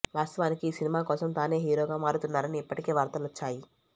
వాస్తవానికి ఈ సినిమా కోసం తానే హీరోగా మారుతున్నారని ఇప్పటికే వార్తలు వచ్చాయి